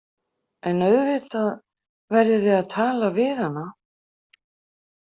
En auðvitað verðið þið að tala við hana.